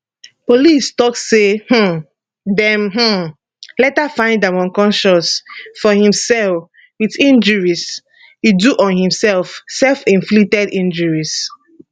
police tok say um dem um later find am unconscious for im cell wit injuries e do on himself selfinflicted injuries